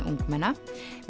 ungmenna